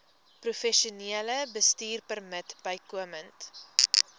professionele bestuurpermit bykomend